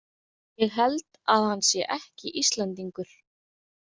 Ég held að hann sé ekki Íslendingur.